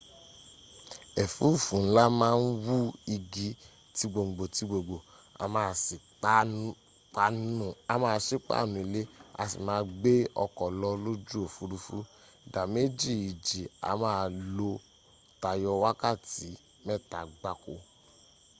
ẹ̀fúùfù ńlá máa ń wú igi ti gbòǹgbò ti gbòǹgbò a máá sí páànù ilé a sì máa gbé ọkọ̀ lọ lójú òfurufú. ìdá méjì ìjì a máa lò tayọ wákàtí mẹ́ta gbáko